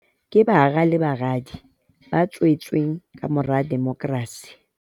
Ke bara le baradi ba tswe tsweng kamora demokrasi.